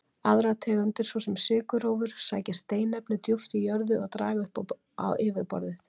Aðrar tegundir, svo sem sykurrófur, sækja steinefni djúpt í jörðu og draga upp á yfirborðið.